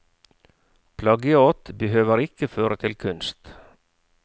Plagiat behøver ikke føre til kunst.